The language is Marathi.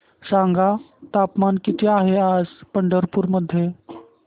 सांगा तापमान किती आहे आज पंढरपूर मध्ये